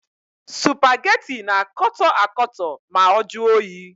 Supageti na-akọtọ akọtọ ma ọ juo oyi.